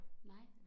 Nej